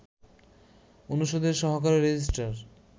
অনুষদের সহকারী রেজিস্ট্রার